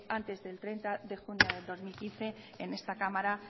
antes del treinta de junio de dos mil quince en esta cámara